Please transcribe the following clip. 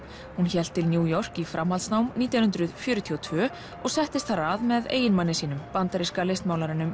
hún hélt til New York í framhaldsnám nítján hundruð fjörutíu og tvö og settist þar að með eiginmanni sínum bandaríska